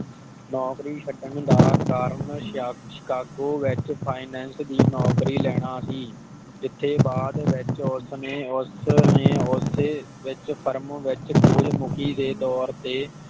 ਨੌਕਰੀ ਛੱਡਣ ਦਾ ਕਾਰਨ ਸ਼ਕਸੀਕਾਗੋ ਵਿਚ ਫਾਇਨਾਂਸ ਦੀ ਨੌਕਰੀ ਲੈਣਾ ਸੀ ਜਿਥੇ ਬਾਦ ਵਿਚ ਉਸਨੇ ਉਸਨੇ ਉਸ ਫਰਮ ਵਿਚ ਸੂਰਜਮੁਖੀ ਦੇ ਤੋਰ ਤੇ